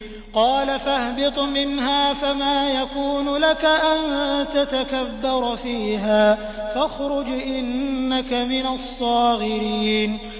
قَالَ فَاهْبِطْ مِنْهَا فَمَا يَكُونُ لَكَ أَن تَتَكَبَّرَ فِيهَا فَاخْرُجْ إِنَّكَ مِنَ الصَّاغِرِينَ